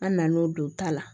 An nan'o don ta la